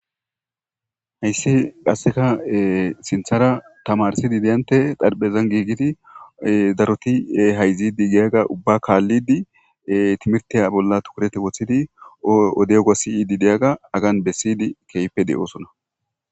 hayssi qasseka sinthara tamarsidi deyante darphezan giigidi daroti hayzidi giyaga ubba kaallidi timirtiya bolla tukurete woththidi odego siidi diyaga agan bessiydi keype de7oosona